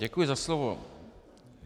Děkuji za slovo.